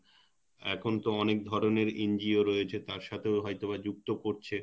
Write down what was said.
এখন তো অনেক ধরনের NGO রয়েছে তার সাথেও হয়তোবা যুক্ত করছে